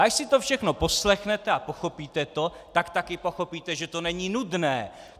A až si to všechno poslechnete a pochopíte to, tak také pochopíte, že to není nudné.